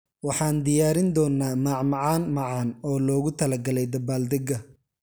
Waxaan diyaarin doonaa macmacaan macaan oo loogu talagalay dabaaldega.